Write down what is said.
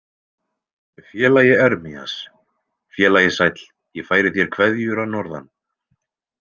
Félagi Ermías, félagi sæll ég færi þér kveðjur að norðan.